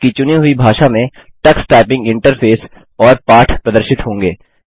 आपकी चुनी हुई भाषा में टक्स टाइपिंग इंटरफेस और पाठ प्रदर्शित होंगे